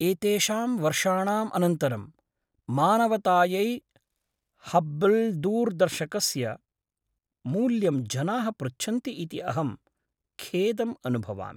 एतेषां वर्षाणाम् अनन्तरं, मानवतायै हब्बल्दूरदर्शकस्य मूल्यं जनाः पृच्छन्ति इति अहं खेदम् अनुभवामि।